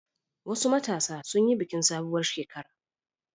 Wasu matasa sun yi bikin sabuwar shekara.